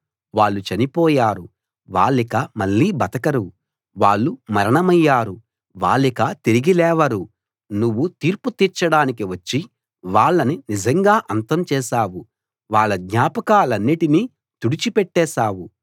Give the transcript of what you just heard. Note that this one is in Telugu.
వాళ్ళు చనిపోయారు వాళ్ళిక మళ్ళీ బతకరు వాళ్ళు మరణమయ్యారు వాళ్ళిక తిరిగి లేవరు నువ్వు తీర్పు తీర్చడానికి వచ్చి వాళ్ళని నిజంగా అంతం చేశావు వాళ్ళ జ్ఞాపకాలన్నిటినీ తుడిచి పెట్టేశావు